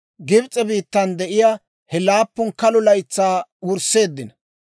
Gibs'e biittan de'iyaa he laappun kalo laytsatuu wureeddino.